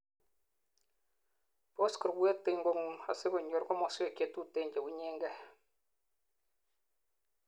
boss kurwet en kongung asikonyor komoswek chetuten chewunyengei